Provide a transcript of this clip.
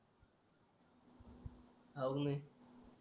आहुनी